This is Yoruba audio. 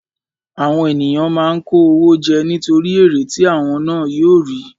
Àwọn ènìyàn máa ń kó owó jẹ nítorí èrè tí àwọn ná yóò rí.